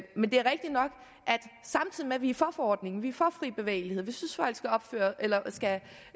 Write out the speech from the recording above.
samtidig med at vi er for forordningen vi er for fri bevægelighed vi synes